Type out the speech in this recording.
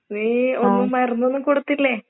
നീ ഒന്നും മരുന്നൊന്നും കൊടുത്തില്ലേ?